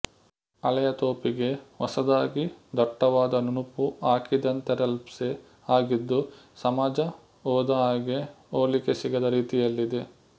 ಹಳೆಯ ತೋಪಿಗೆ ಹೊಸದಾಗಿ ದಟ್ಟವಾದ ನುಣುಪು ಹಾಕಿದಂತೆರೆಲಪ್ಸೆ ಆಗಿದ್ದು ಸಮಾಜ ಹೋದ ಹಾಗೆ ಹೋಲಿಕೆ ಸಿಗದ ರೀತಿಯಲ್ಲಿದೆ